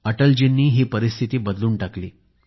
अटलजींनी ही परिस्थिती बदलून टाकली